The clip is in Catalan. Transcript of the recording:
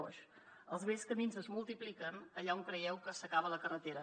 foix els bells camins es multipliquen allà on creieu que s’acaba la carretera